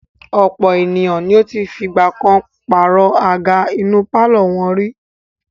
Ọ̀pọ̀ ènìyàn ni ó ti fìgbà kan pàrọ̀ àga inú pálọ̀ wọn.